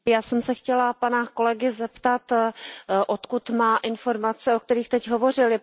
Já jsem se chtěla pana kolegy zeptat, odkud má informace, o kterých teď hovořil?